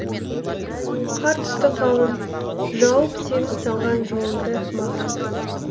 қар түсті қалың жауып сенің салған жолыңды маған